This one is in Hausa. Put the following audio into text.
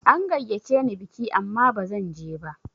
An gayyace ni biki amma ba zanje ba.